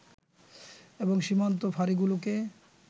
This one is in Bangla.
এবং সীমান্ত ফাঁড়িগুলোকে